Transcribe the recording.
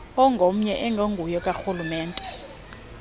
ongomnye ongenguwo okarhulumente